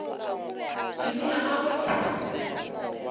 pelo ya gagwe e sa